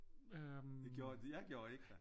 Jeg gjorde ik da